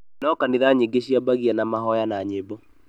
No kanitha nyingi ciambagia na mahoya na nyĩmbo